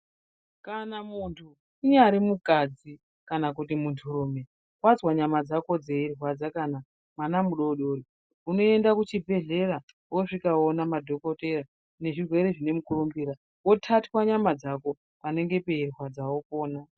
Kana mundu unnyari mukadzi kanamundurume wazwa nyama dzako dzeirwadza kana mwana mudodori unoenda kuchibhehlera wosvika woona madhokoteya ezvirwere zvinemukurumbira wotatwe nyama dzako panenge parwadza wopona.